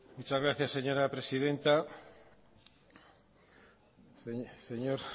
muchas gracias señora presidenta señor